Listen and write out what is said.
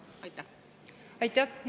Aitäh!